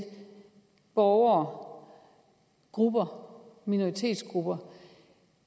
borgere grupper minoritetsgrupper